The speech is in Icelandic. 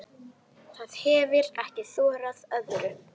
Það hefir ekki þorað öðru.